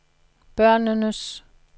børnenes